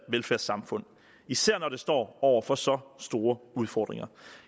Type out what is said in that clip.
velfærdssamfund især når det står over for så store udfordringer